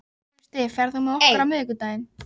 Trausti, ferð þú með okkur á miðvikudaginn?